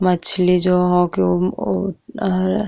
मछली जो होके उ --